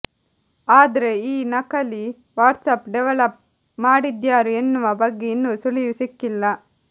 ಆದ್ರೆ ಈ ನಕಲಿ ವಾಟ್ಸಾಪ್ ಡೆವಲಪ್ ಮಾಡಿದ್ಯಾರು ಎನ್ನುವ ಬಗ್ಗೆ ಇನ್ನೂ ಸುಳಿವು ಸಿಕ್ಕಿಲ್ಲ